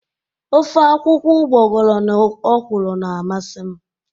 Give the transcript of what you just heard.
Ofe akwụkwọ ugboghọrọ na ọkwụrụ na amasị m.